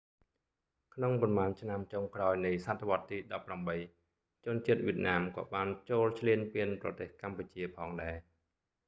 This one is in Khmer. ក្នុងប៉ុន្មានឆ្នាំចុងក្រោយនៃសតវត្សរ៍ទី18 ជនជាតិវៀតណាមក៏បានចូលឈ្លានពានប្រទេសកម្ពុជាផងដែរ